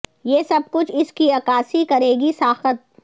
یہ سب کچھ اس کی عکاسی کرے گی ساخت